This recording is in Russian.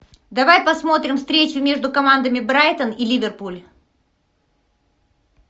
давай посмотрим встречу между командами брайтон и ливерпуль